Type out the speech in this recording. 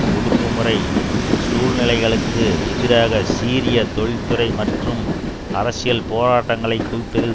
ஒடுக்குமுறை சூழ்நிலைகளுக்கு எதிராக சீரிய தொழிற்துறை மற்றும் அரசியல் போராட்டங்களைக் குவிப்பதில்